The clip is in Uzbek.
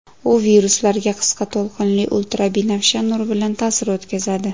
U viruslarga qisqa to‘lqinli ultrabinafsha nur bilan ta’sir o‘tkazadi.